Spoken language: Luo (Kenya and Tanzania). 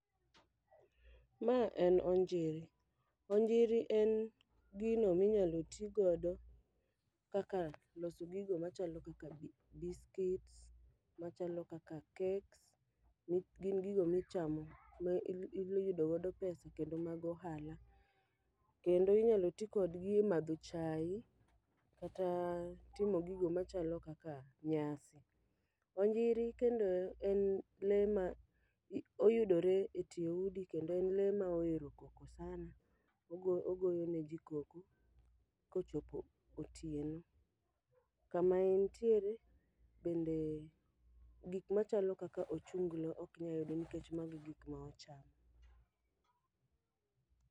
Ma en onjiri, onjiri en gino minyalo ti godo kaka loso gigo machalo kaka biscuits, machalo kaka cakes, mi gin gigo micham ma il iyudo godo pesa kendo mag ohala. Kendo inyalo ti kodgi e madho chai kata timo gigo machalo kaka nyasi. Onjiri kendo en le ma oyudore e tie udi kendo le ma ohero koko sana. Ogo ogoyo ne ji koko kochopo otieno, kama entiere bende gik machalo ochunglo okinyayudo nikech mago e gik ma ochamo.